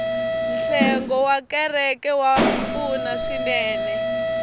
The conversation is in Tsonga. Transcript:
nhlengo wa kereke wa pfuna swinene